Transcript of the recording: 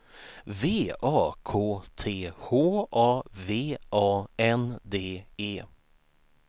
V A K T H A V A N D E